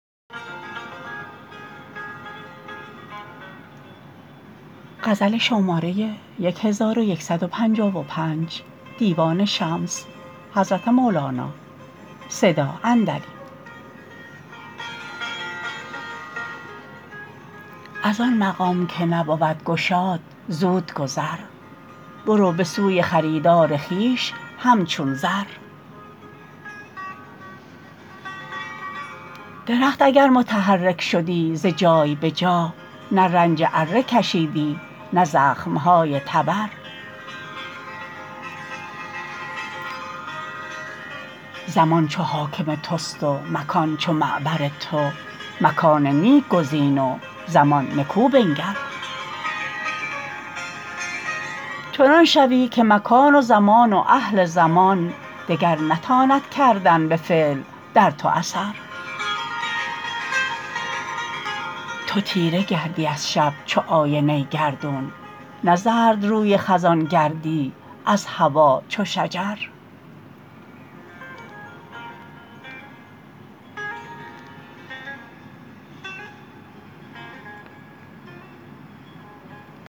از آن مقام که نبود گشاد زود گذر برو به سوی خریدار خویش همچون زر درخت اگر متحرک شدی ز جای به جا نه رنج اره کشیدی نه زخمه های تبر زمان چو حاکم تست و مکان چو معبر تو مکان نیک گزین و زمان نکو بنگر چنان شوی که مکان و زمان و اهل زمان دگر نتاند کردن به فعل در تو اثر تو تیره گردی از شب چو آینه گردون نه زردروی خزان گردی از هوا چو شجر